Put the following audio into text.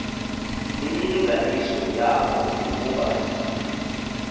imilinganiso yawo ukuba